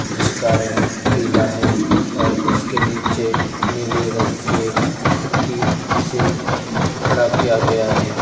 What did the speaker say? जिसका रंग पीला है और उसके नीचे नीले रंग के खट्टी से खड़ा किया गया है।